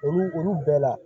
Olu olu bɛɛ la